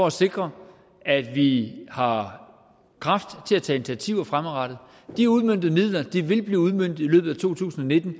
at sikre at vi har kræfter til initiativer fremadrettet de uudmøntede midler vil blive udmøntet i løbet af to tusind og nitten